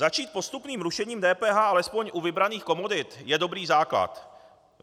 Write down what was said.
Začít postupným rušením DPH alespoň u vybraných komodit je dobrý základ.